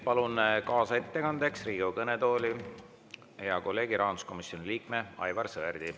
Palun kaasettekandeks Riigikogu kõnetooli hea kolleegi, rahanduskomisjoni liikme Aivar Sõerdi.